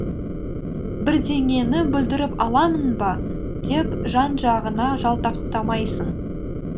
бірдеңені бүлдіріп аламын ба деп жан жағыңа жалтақтамайсың